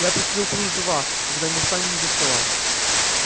я пришлю кружева когда мы встанем из-за стола